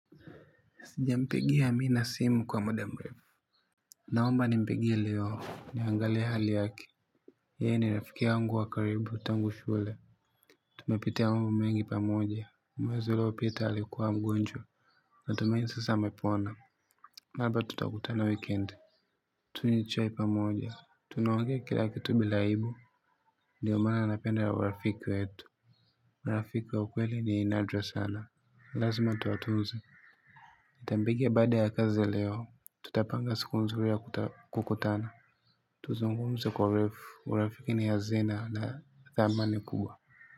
Sijampigia Amina simu kwa muda mrefu. Naomba ni mpigie leo. Niangalie hali yake. Ye ni rafiki yangu wa karibu tangu shule. Tumepitia mambo mengi pamoja. Mwezi uliopita alikuwa mgonjwa na tumaini sasa amepona. Laba tutakutana weekend. Tuenjoy pamoja tunaongea kila kitu bila aibu. Ndio maana napenda urafiki wetu. Rafiki wa ukweli ni nadra sana. Lazma tuwatuuze. nitampigia bada ya kazi leo. Tutapanga sikunzuri ya kukutana. Tuzungumze kwa urefu. Urafiki ni hazina na dhamani kubwa.